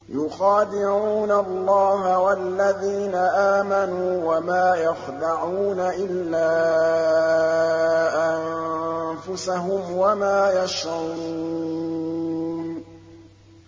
يُخَادِعُونَ اللَّهَ وَالَّذِينَ آمَنُوا وَمَا يَخْدَعُونَ إِلَّا أَنفُسَهُمْ وَمَا يَشْعُرُونَ